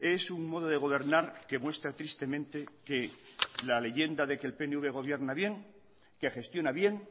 es un modo de gobernar que muestra tristemente que la leyenda de que el pnv gobierna bien que gestiona bien